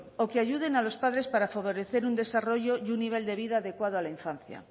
o que ayuden a los padres para favorecer un desarrollo y un nivel de vida adecuado a la infancia